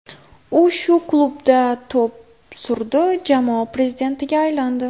U shu klubda to‘p surdi, jamoa prezidentiga aylandi.